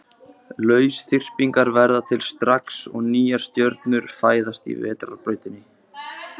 Lausþyrpingar verða til strax og nýjar stjörnur fæðast í Vetrarbrautinni.